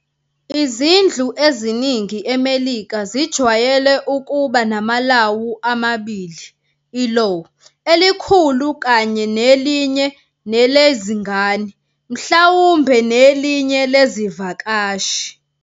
Izindlu eziningi eMelika zijwayele ukuba namalawu amabili-ilaw elikhulu kanye nelinye nelizngane, mhlawumbhe nelinye lezivakashi.